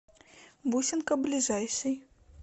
бусинка ближайший